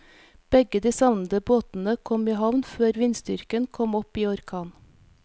Begge de savnede båtene kom i havn før vindstyrken kom opp i orkan.